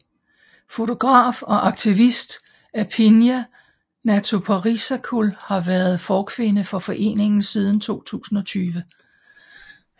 Fotograf og aktivist Aphinya Jatuparisakul har været forkvinde for foreningen siden 2020